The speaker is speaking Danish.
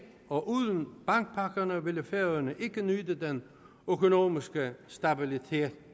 og uden bankpakkerne ville færøerne ikke nyde den økonomiske stabilitet